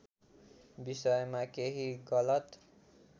विषयमा केही गलत